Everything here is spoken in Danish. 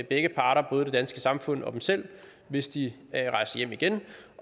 begge parter både det danske samfund og dem selv hvis de rejser hjem igen